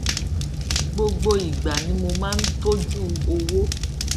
gbogbo ìgbà ni mo máa ń tójú owó